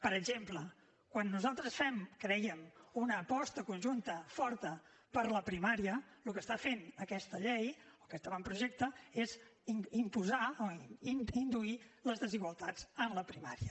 per exemple quan nosaltres fèiem crèiem una aposta conjunta forta per la primària el que fa aquesta llei o aquest avantprojecte és induir les desigualtats en la primària